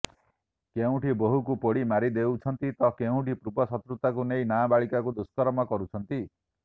କେଉଠିଁ ବୋହୂକୁ ପୋଡ଼ି ମାରିଦେଉଛନ୍ତି ତ କେଉଁଠି ପୂର୍ବ ଶତୃତାକୁ ନେଇ ନାବାଳିକାକୁ ଦୁଷ୍କର୍ମ କରୁଛନ୍ତି